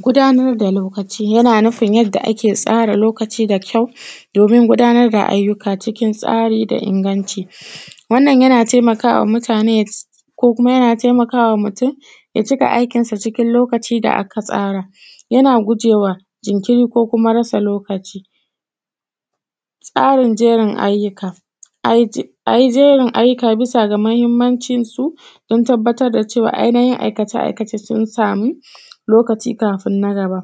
Gudanar da lokaci yana nufin yadda ake tsara lokaci da kyau, domin gudanar da ayyuka cikin tsari da inganci. Wannan yana taimakawa mutane, kokuma yana taimakawa mutum, ya cika aikinsa cikin lokaci da aka tsara. Yana gujewa jinkiri ko kuma rasa lokaci. Tsarin jerin ayyuka, a yi je, a yi jerin ayyuka bi sa ga muhimmancinsu, don tabbatar da cewa ainahin aikace- aikace sun samu lokaci kafin na gaba.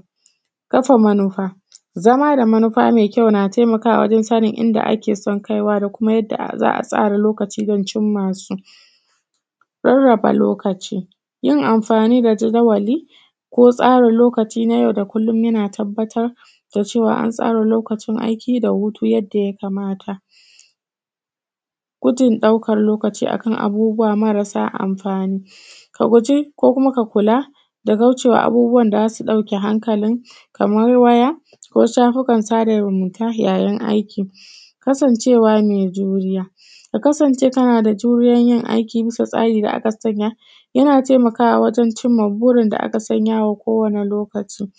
Kafa manufa, zama da manufa me kyau na taimakawa wajen sanin inda ake son kaiwa da kuma yadda za’a tsara lokaci don cimma su. Raraba lokaci. Yin amfani da jadawali, ko tsara lokaci na yau da kullu yana tabbatar da cewa an tsara lokacin aiki da hutu yadda yakamata. Gudun ɗaukan lokaci a kan abubuwa marasa amfani. Ka guji ko kuma ka kula da kaucewa abubuwan da zasu ɗauke hankalin, kamar waya ko shafukan sada zumunta ya yin aiki. Kasancewa mai juriya, ka kasance kana da juriyan yin aiki bisa tsarin da aka sanya, yana taimakawa wajen cimma burin da aka sanya wa ko wani lokaci.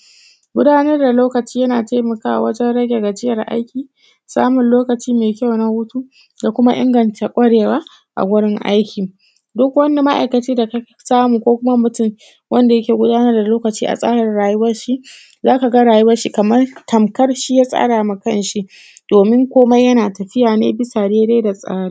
Gudanar da lokaci yana taimakawa wajen rage gajiyar aiki, samun lokaci mai kyau na hutu, da kuma inganta kwarewa a wurin aiki. Duk wani ma'aikaci da ka samu ko kuma mutum, wanda yake gudanar da lokaci a tsarin rayuwarshi za ka rayuwarshi kamar tamkar shi ya tsara ma kan shi, domin komai yana tafiya ne bisa dai-dai da tsari